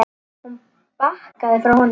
Hún bakkaði frá honum.